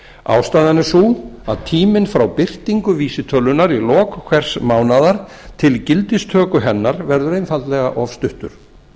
ástæðan er sú að tíminn frá birtingu vísitölunnar í lok hvers mánaðar til gildistöku hennar verður einfaldlega of stuttur